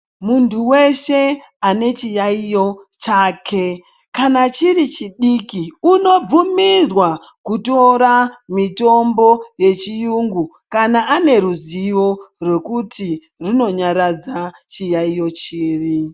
Muntu veshe ane chiyaiyo chake, kana chiri chidiki unobvunirwa kutora mitombo yechiyungu kana ane ruzivo rwekuti runonyaradza chiyaiyo chiri.